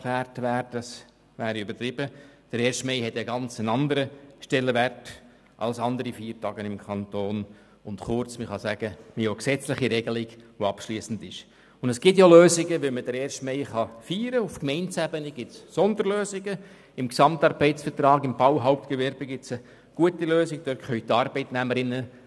Landesstreik: Dass der Kanton hier sozusagen die Federführung bei diesem Jubiläum übernehmen soll, ist nicht angebracht und merkwürdig.